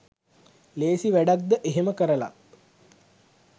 ලේසි වැඩක්ද එහෙම කරලත්